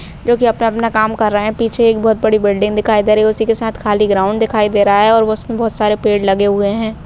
जो की अपना-अपना काम कर रहे हैं पीछे एक बहुत बड़ी बिल्डिंग दिखाई दे रही है उसी के साथ खाली ग्राउन्ड दिखाई दे रहा है और वो उसमें बहुत सारे पेड़ लगे हुए हैं।